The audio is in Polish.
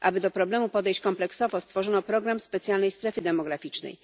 Aby do problemu podejść kompleksowo, stworzono program specjalnej strefy demograficznej.